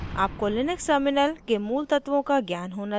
आपको Linux terminal के मूल तत्वों का ज्ञान होना चाहिए